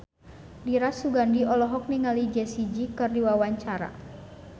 Dira Sugandi olohok ningali Jessie J keur diwawancara